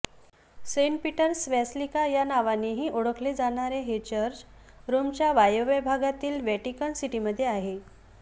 Saint Peter's Basilica या नावानेही ओळखले जाणारे हे चर्च रोमच्या वायव्य भागातील व्हॅटिकन सिटीमध्ये आहे